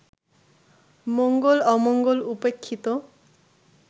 মঙ্গল-অমঙ্গল উপেক্ষিত